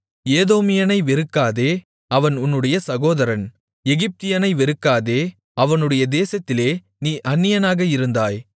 ஏதோமியனை வெறுக்காதே அவன் உன்னுடைய சகோதரன் எகிப்தியனை வெறுக்காதே அவனுடைய தேசத்திலே நீ அந்நியனாக இருந்தாய்